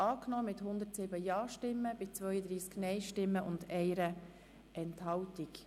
FDP/ Müller angenommen mit 107 Ja- gegen 32 Nein-Stimmen bei 1 Enthaltung.